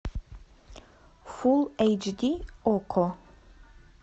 фул эйч ди окко